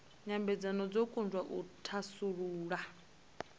nyambedzano dzo kundwa u thasulula